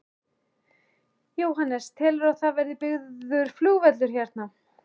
Jóhannes: Telurðu að það verði byggður flugvöllur hérna?